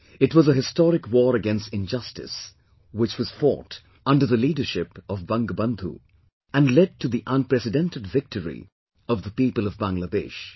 It was a historic war against injustice, which was fought under the leadership of "BangaBandhu" and led to the unprecedented victory of the people of Bangladesh